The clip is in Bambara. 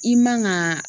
I man ka